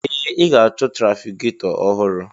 Ee! Ị ga-achọ trafigetọ ọhụrụ.